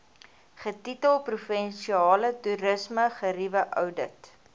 getitel provinsiale toerismegerieweoudit